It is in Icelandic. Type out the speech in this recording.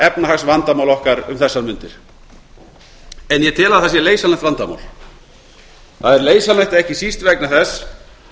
efnahagsvandamál okkar um þessar mundir en ég tel að það sé leysanlegt vandamál það er leysanlegt ekki síst vegna þess